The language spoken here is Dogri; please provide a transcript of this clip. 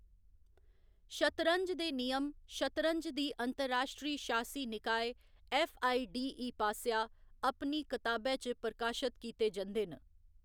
शतरंज दे नियम शतरंज दी अंतर्राश्ट्री शासी निकाय, फ.आई. डी. ई. पासेआ अपनी कताबै च प्रकाशत कीते जंदे न।